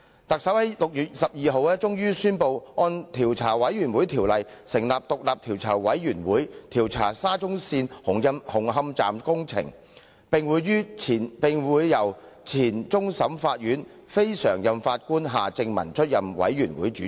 特首在6月12日終於宣布根據《調查委員會條例》成立獨立調查委員會，負責調查沙田至中環線紅磡站工程，由前終審法院非常任法官夏正民出任委員會主席。